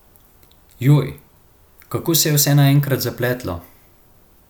Joj, kako se je vse naenkrat zapletlo!